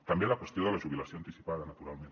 també a la qüestió de la jubilació anticipada naturalment